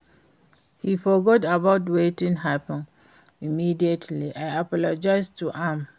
He forget about wetin happen immediately I apologize to am